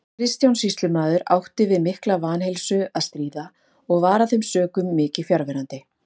Kristján sýslumaður átti við mikla vanheilsu að stríða og var af þeim sökum mikið fjarverandi.